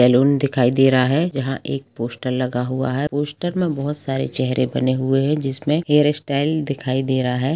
Salon दिखाई दे रहा है जहाँ एक पोस्टर लगा हुआ है पोस्टर में बहोत सारे चेहरे बने हुए है जिसमे हेयर स्टाइल दिखाई दे रहा है।